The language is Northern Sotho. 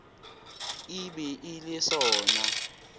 e be e le sona